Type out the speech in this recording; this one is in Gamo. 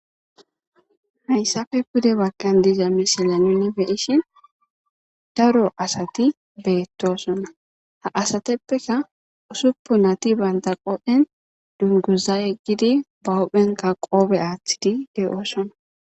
Ha issappe pudde baggan diza miseleni nuni be'ishin daro asati beettoosono. Ha asatuppeka usuppunati banta qoben dunguzayi yeggiddi ba huphphenka qobetidi de'oosono.